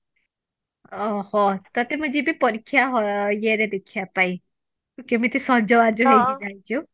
ଅ ହ ତତେ ମୁଁ ଯିବି ପରୀକ୍ଷା hall ଇଏ ରେ ଦେଖିବା ପାଇଁ ତୁ କେମିତେ ସଜବାଜ ହେଇକି ଯାଇଛୁ